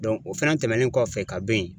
o fɛnɛ tɛmɛnen kɔfɛ ka bo yen.